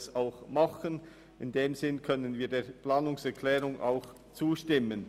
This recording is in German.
In diesem Sinn können wir der Planungserklärung 1 zustimmen.